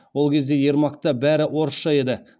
ол кезде ермакта бәрі орысша еді